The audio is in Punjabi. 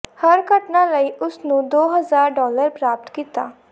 ਹਰ ਘਟਨਾ ਲਈ ਉਸ ਨੂੰ ਦੋ ਹਜ਼ਾਰ ਡਾਲਰ ਪ੍ਰਾਪਤ ਕੀਤਾ